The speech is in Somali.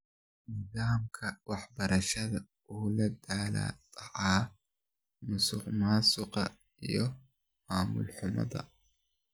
Nidaamka waxbarashada wuxuu la daalaa dhacayaa musuqmaasuqa iyo maamul xumo.